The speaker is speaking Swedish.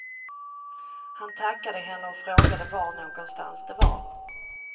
Han tackade henne och frågade var någonstans det var.